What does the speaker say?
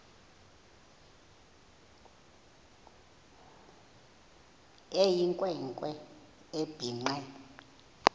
eyinkwe nkwe ebhinqe